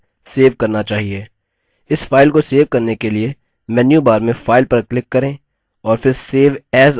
इस file को save करने के लिए menu bar में file पर click करें और फिर save as option पर click करें